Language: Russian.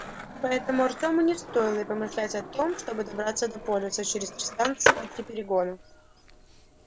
поэтому артёму не стоило и помышлять о том чтобы добраться до полиса через три станции и три перегона